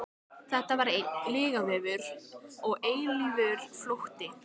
Þetta var einn lygavefur og eilífur flótti.